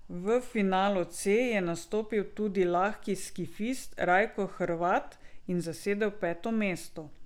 V finalu C je nastopil tudi lahki skifist Rajko Hrvat in zasedel peto mesto.